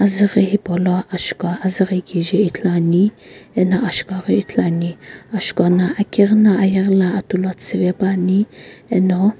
azughi hipau lo ashuka azughi kije ithulu ani eno ashuka ghi ithulu ani ashuka no akighi no ayeghi lo atu lo tsupe pa ani eno.